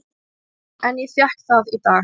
En ég fékk það í dag.